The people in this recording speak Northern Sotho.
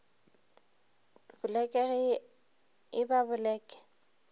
boleke ge e ba boleke